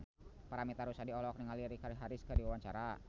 Paramitha Rusady olohok ningali Richard Harris keur diwawancara